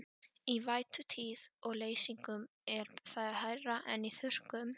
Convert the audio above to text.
Í vætutíð og leysingum er það hærra en í þurrkum.